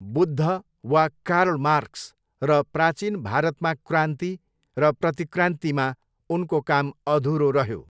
बुद्ध वा Karl Marx र 'प्राचीन भारतमा क्रान्ति र प्रतिक्रान्ति' मा उनको काम अधुरो रह्यो।